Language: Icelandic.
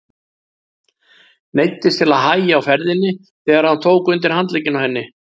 Neyddist til að hægja á ferðinni þegar hann tók undir handlegginn á henni.